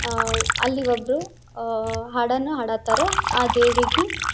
ಆಹ್ಹ್ ಅಲ್ಲಿ ಒಬ್ರು ಹಾಡನ್ನ ಹಾಡ ಹತಾರ ಆ ದೇವಿಗೆ.